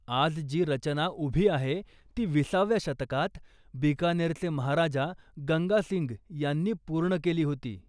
आज जी रचना उभी आहे ती विसाव्या शतकात बिकानेरचे महाराजा गंगा सिंग यांनी पूर्ण केली होती.